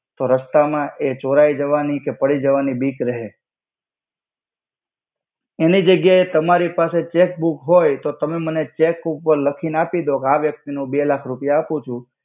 તો રસ્તા મા એ ચોરઈ જવાની કે પડી જવાની બિક રહે એનિ જ્ગ્યા એ તમારિ પાસે ચેકબુક હોય તો તમે મને ચેકબુક પર લખી ને આપિ દો ક આ વ્યક્તિ ને હુ બે લાખ રુપિયા આપુ છુ.